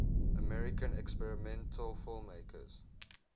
american experimental filmmakers